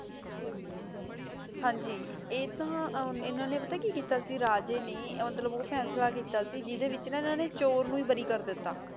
ਹਾਂਜੀ ਆਯ ਤਾਂ ਇਨਾਂ ਨੇ ਪਤਾ ਆਯ ਕੀ ਕੀਤਾ ਸੀ ਰਾਜੀ ਨੇ ਮਤਲਬ ਊ ਫੈਸਲਾ ਕੀਤਾ ਸੀ ਜਿਡੇ ਵਿਚ ਨਾਂ ਇਨਾਂ ਨੇ ਚੋਰ ਨੂ ਈ ਬਾਰੀ ਕਰ ਦਿਤਾ